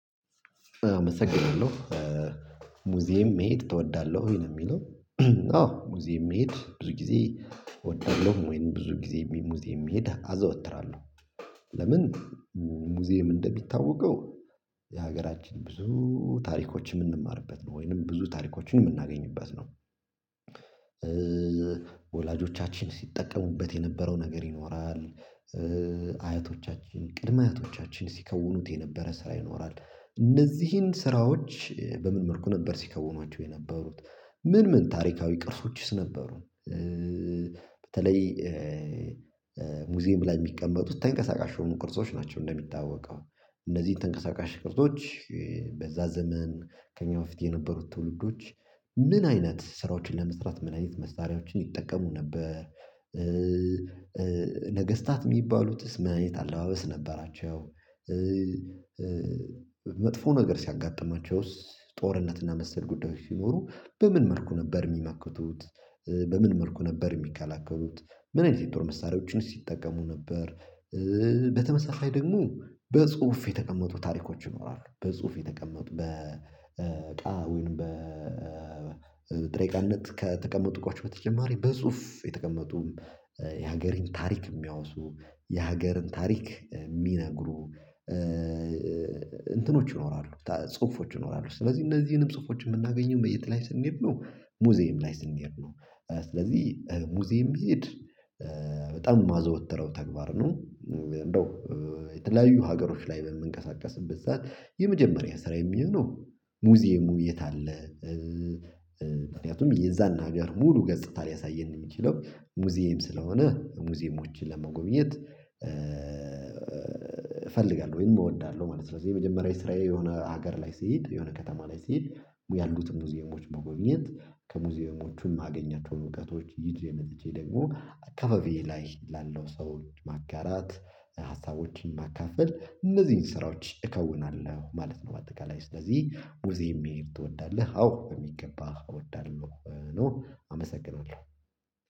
አመሰግናለሁ ሙዚየም መሄድ ትወዳለህ ወይ ነው የሚለው? አዎ ሙዚየም መሄድ ብዙ ጊዜ እወዳለሁ ወይም ብዙ ጊዜ ሙዚየም የሚሄድ አዘወትራለሁ። ለምን ሙዚየም እንደሚታወቀው የሀገራችን ብዙ ታሪኮች የምንማርበት ወይንም ብዙ ታሪኮችን የምናገኝበት ነው። ወላጆቻችን ሲጠቀሙበት የነበረው ነገር ይኖራል። አያቶቻችን ቅድመ አያቶቻችን ሲከውኑት የነበረ ስራ ይኖራል። እነዚህን ስራዎች በምን መልኩ ነበር ሲከውኗቸው የነበሩት ምን ምን ታሪካዊ ቅርሶችስ ነበሩ? በተለይ ሙዚየም ላይ የሚቀመጡት ተንቀሳቃሽ የሆኑ ቅርሶች ናቸው። እንደሚታወቀው እነዚህን ተንቀሳቃሽ ቅርሶች በዛ ዘመን ከእኛ በፊት የነበሩት ትውልዶች ምን አይነት ስራዎችን ለመስራት ምን አይነት መሳሪያዎችን ይጠቀሙ ነበር? ነገስታት የሚባሉትስ ምን አይነት አለባበስ ነበራቸው? መጥፎ ነገር ሲያጋጥማቸውስ ጦርነትና መሰል ጉዳዮች ሲኖሩ በምን መልኩ ነበር የሚመክቱት? በምን መልኩ ነበር የሚከላከሉት? ምን አይነት የጦር መሳሪያዎችንስ ሲጠቀሙ ነበር? በተመሳሳይ ደግሞ በጽሁፍ የተቀመጡ ታሪኮች ይኖራሉ በጽሁፍ የተቀመጡ በእቃ ወይንም በጥሬ እቃነት ከተቀመጡኳቸው በተጨማሪ በጽሁፍ የተቀመጡ የሀገርህን ታሪክ የሚያወሱ የሀገርን ታሪክ የሚነግሩ እንትኖች ይኖራሉ ጽሁፎች ይኖራሉ ስለዚህ እነዚህንም ጽሁፎች የምናገኘው በየት ላይ ስንሄድ ነው ሙዚየም ላይ ስንሄድ ነው። ስለዚህ ሙዚየም መሄድ በጣም የማዘወትረው ተግባር ነው። እንደው የተለያዩ ሀገሮች ላይ በምንቀሳቀስበት ሰዓት የመጀመሪያ ስራየ የሚሆነው ሙዚየሙ የት አለ? ምክንያቱም የዛን ሀገር ሙሉ ገጽታ ሊያሳየን ነው የሚችለው ሙዚየም ስለሆነ ሙዚየሞችን ለመጎብኘት እፈልጋለሁ ወይንም እወዳለሁ ማለት ነው። ስለዚህ የመጀመሪያ የስራዬ የሆነ ሀገር ላይ ስሄድ የሆነ ከተማ ላይ ስሄድ ያሉትን ሙዚየሞች መጎብኝት ከሙዚየሞቹም አገኛቸውን እውቀቶች ይዤ መጥቼ ደግሞ አካባቢዬ ላይ ላለው ሰው ማጋራት ሀሳቦችን ማካፈል እነዚህን ስራዎች እከውናለሁ ማለት ነው። በአጠቃላይ ስለዚህ ሙዙየም መሄድ ትወዳለህ አዎ በሚገባ እወዳለሁ። ኖሮ አመሰግናለሁ